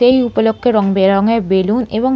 এই উপলক্ষ্যে রং-বেরঙের বেলুন এবং--